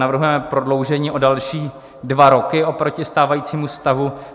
Navrhujeme prodloužení o další dva roky oproti stávajícímu stavu.